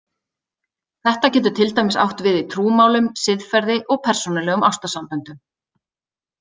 Þetta getur til dæmis átt við í trúmálum, siðferði, og persónulegum ástarsamböndum.